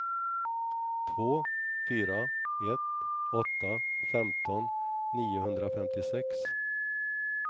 två fyra ett åtta femton niohundrafemtiosex